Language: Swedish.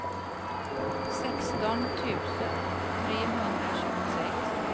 sexton tusen trehundratjugosex